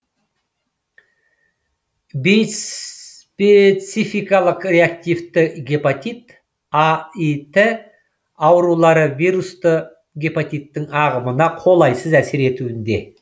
бейспецификалық реактивті гепатит аіт аурулары вирусты гепатиттің ағымына қолайсыз әсер етуінде